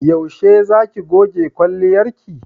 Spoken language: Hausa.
Yaushe za ki goge kwalliyarki?